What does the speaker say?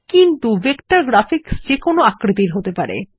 কিন্তু vector graphics যে কোনো আকৃতির হতে পারে